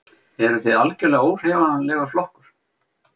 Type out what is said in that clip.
Eruð þið algjörlega óhreyfanlegur flokkur?